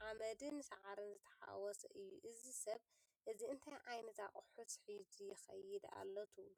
ሓመድን ሳዕርን ዝተሓዋወሰ እዩ። እዚ ሰብ እዚ እንታይ ዓይነት ኣቑሑት ሒዙ ይኸይድ ኣሎ ትብሉ?